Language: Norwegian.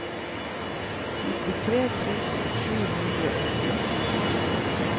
nittitre tusen sju hundre og ti